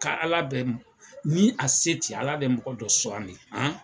Ka ala deli ni a se tɛ ala bɛ mɔgɔ dɔ sugandi.